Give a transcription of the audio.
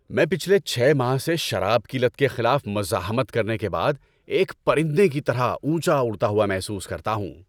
میں پچھلے چھ ماہ سے شراب کی لت کے خلاف مزاحمت کرنے کے بعد ایک پرندے کی طرح اونچا اڑتا ہوا محسوس کرتا ہوں۔